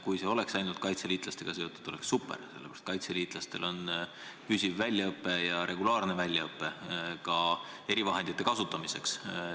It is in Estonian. Kui need oleks ainult kaitseliitlastega seotud, oleks olukord super, sest kaitseliitlased saavad püsivat ja regulaarset väljaõpet, ka erivahendite kasutamise alal.